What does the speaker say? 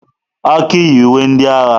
Aki yi uwe ndị agha.